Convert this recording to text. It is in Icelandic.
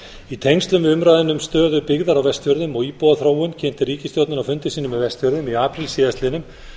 í tengslum við umræðuna um stöðu byggðar á vestfjörðum og íbúaþróun kynnti ríkisstjórnin á fundi sínum á vestfjörðum í apríl síðastliðnum